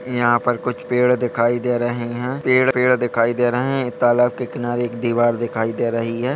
यहाँ पर कुछ पेड़ दिखाई दे रहें हैं पेड़-पेड़ दिखाई दे रहें हैं तालाब के किनारे एक दीवार दिखाई दे रही है।